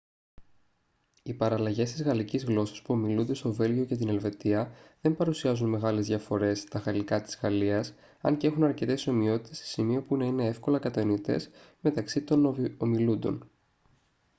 οι παραλλαγές της γαλλικής γλώσσας που ομιλούνται στο βέλγιο και την ελβετία δεν παρουσιάζουν μεγάλες διαφορές τα γαλλικά της γαλλίας αν και έχουν αρκετές ομοιότητες σε σημείο που να είναι εύκολα κατανοητές μεταξύ τωβ ομιλούντων